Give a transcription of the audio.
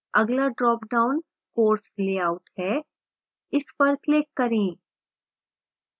अगला dropdown course layout है इस पर click करें